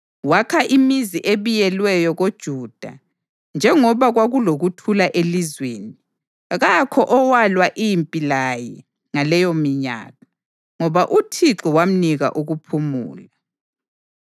Wakha imizi ebiyelweyo koJuda, njengoba kwakulokuthula elizweni. Kakho owalwa impi laye ngaleyominyaka, ngoba uThixo wamnika ukuphumula.